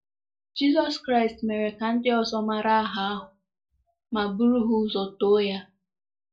Jizọs Kraịst mere ka ndị ọzọ mara aha ahụ ma bụrụ ha ụzọ too ya.